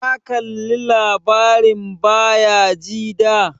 Ka kalla labarin Bayajida?